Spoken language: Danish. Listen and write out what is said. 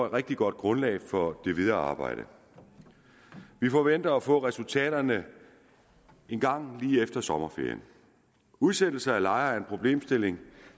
et rigtig godt grundlag for det videre arbejde vi forventer at få resultaterne engang lige efter sommerferien udsættelse af lejere er en problemstilling